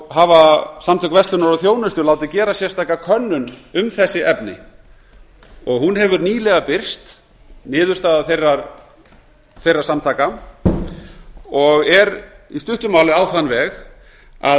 hafa samtök verslunar og þjónustu látið gera sérstaka könnun um þessi efni niðurstaða þeirra samtaka hefur nýlega birst og er í stuttu máli á þann veg að